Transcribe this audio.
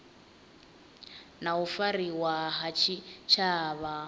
na u fariwa ha tshitshavha